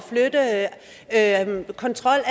at flytte kontrollen